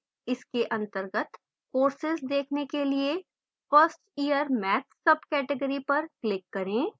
इसके अंतर्गत courses देखने के लिए 1st year maths subcategory पर click करें